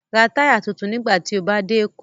Ra táyà tuntun nígbà tí o bá dé Èkó